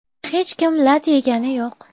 Hech kim lat yegani yo‘q.